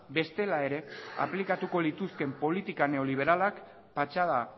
bestela ere aplikatuko lituzkeen politika neoliberalak patxada